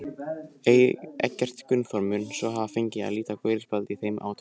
Eggert Gunnþór mun svo hafa fengið að líta gula spjaldið í þeim átökum.